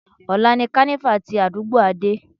Ọ̀la ni kánífà tí àdúgbò Adé.